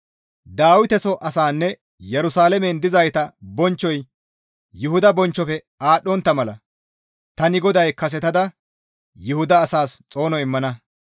«Dawiteso asaanne Yerusalaamen dizayta bonchchoy Yuhuda bonchchofe aadhdhontta mala tani GODAY kasetada Yuhuda asaas xoono immana.